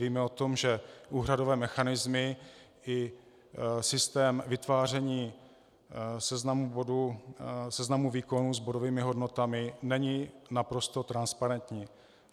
Víme o tom, že úhradové mechanismy i systém vytváření seznamu výkonů s bodovými hodnotami nejsou naprosto transparentní.